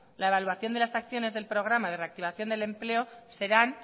la evaluación de las acciones del programa de reactivación del empleo serán